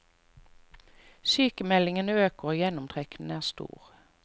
Sykemeldingene øker og gjennomtrekken er stor.